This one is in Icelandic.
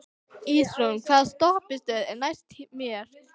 Ísrún, hvaða stoppistöð er næst mér?